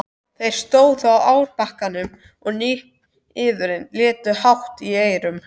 Þeir stóðu á árbakkanum og niðurinn lét hátt í eyrum.